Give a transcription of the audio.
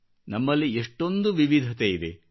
ನಮ್ಮಲ್ಲಿ ಎಷ್ಟೊಂದು ವಿವಧತೆಯಿದೆ